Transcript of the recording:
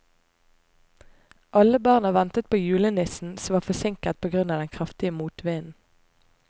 Alle barna ventet på julenissen, som var forsinket på grunn av den kraftige motvinden.